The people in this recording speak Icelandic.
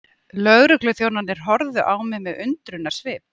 Lögregluþjónarnir horfðu á mig með undrunarsvip.